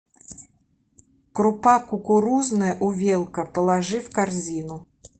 крупа кукурузная увелка положи в корзину